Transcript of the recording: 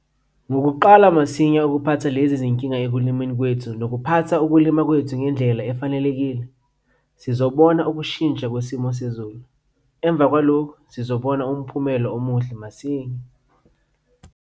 Ngokuqala masinya ukuphatha lezi zinkinga ekulimeni kwethu nokuphatha ukulima kwethu ngendlela efanelekile, sizobona ukushintsha kwesimo sezulu. Emva kwalokhu sizobona umphumelo omuhle masinya.